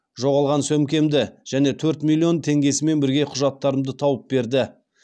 жоғалған сөмкемді және төрт миллион теңгесімен бірге құжаттарымды тауып берді